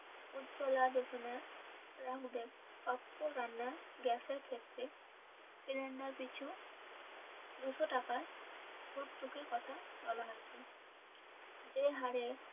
উজ্জ্বলা যোজনা প্রাপ্য রান্নার গ্যাসের ক্ষেত্রে সিলিন্ডার পিছু দুশো টাকা ভর্তুকির কথা বলা হয়েছে যে হারে,